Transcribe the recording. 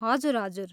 हजुर, हजुर।